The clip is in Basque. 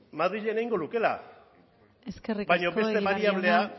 madrilen egingo lukeela eskerrik asko egibar jauna